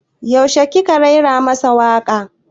Yaushe ki ka raira masa waka?